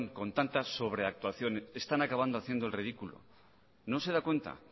con tanta sobreactuación están acabando haciendo el ridículo no se da cuenta